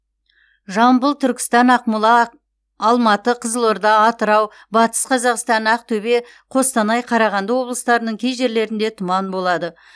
жамбыл түркістан ақмола а алматы қызылорда атырау батыс қазақстан ақтөбе қостанай қарағанды облыстарының кей жерлерінде тұман болжанады